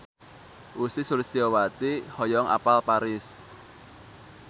Ussy Sulistyawati hoyong apal Paris